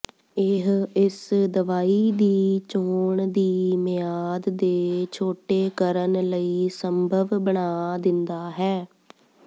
ਇਹ ਇਸ ਦਵਾਈ ਦੀ ਚੋਣ ਦੀ ਮਿਆਦ ਦੇ ਛੋਟੇ ਕਰਨ ਲਈ ਸੰਭਵ ਬਣਾ ਦਿੰਦਾ ਹੈ